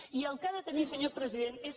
i el que ha de tenir senyor president és